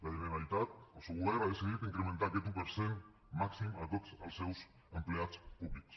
la generalitat el seu govern ha decidit incrementar aquest un per cent màxim a tots els seus empleats públics